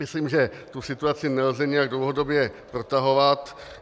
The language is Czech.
Myslím, že tu situaci nelze nijak dlouhodobě protahovat.